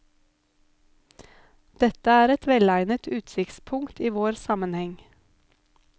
Dette er et velegnet utsiktspunkt i vår sammenheng.